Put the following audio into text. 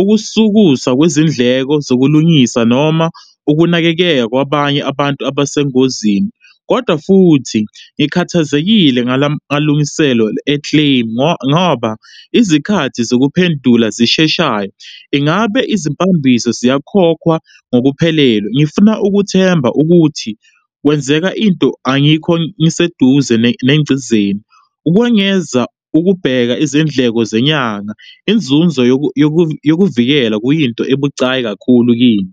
Ukusukusa kwezindleko zokulungisa noma ukunakekeya kwabanye abantu abesengozini. Kodwa futhi, ngikhathazekile ngalamalungiselo e-claim ngoba izikhathi zokuphendula zisheshayo, ingabe izimpambiso siyakhokhwa ngokuphelele. Ngifuna ukuthemba ukuthi kwenzeka into angikho ngiseduze nengcizeni. Ukwengeza ukubheka izindleko zenyanga inzuzo yokuvikela kuyinto ebucayi kakhulu kimi.